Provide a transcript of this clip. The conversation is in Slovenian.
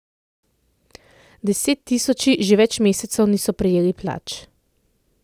Desettisoči že več mesecev niso prejeli plač.